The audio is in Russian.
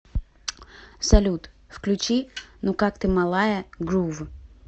салют включи ну как ты малая грув